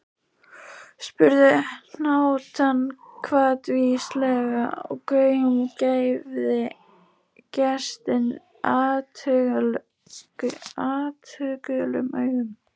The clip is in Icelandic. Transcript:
spurði hnátan hvatvíslega og gaumgæfði gestinn athugulum augum.